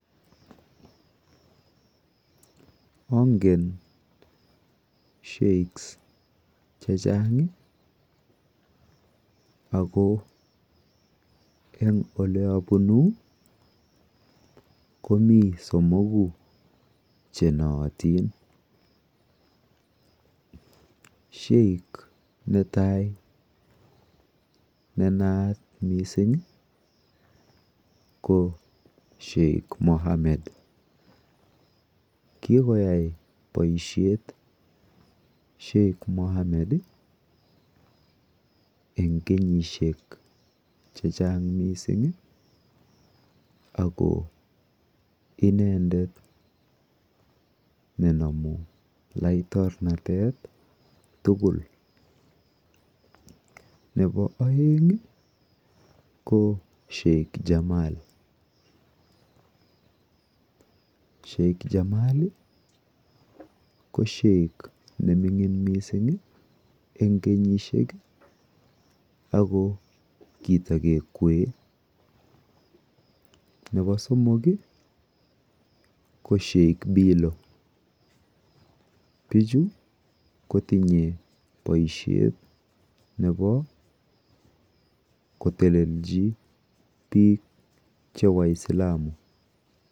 Angen sheikhs che chang' ako eng' ole apunu komi somoku che naatin. Sheikh ne tai ne naat missing' ko Sheikh Mohammed. Kikoyai paishet Sheikh Mohammed eng' kenyishek che chang' missing' ako inendet ne namu laiktornatet tugul. Nepo aeng' ko Sheikh Jamal. Sheikh Jamal ko sheikh ne minning' missing' eng' kenyishek ako kitake kwee. Nepo somok ko Sheikh Bilo . Pichu kotinye poishet nepo kotelelchi piik che Waislamu.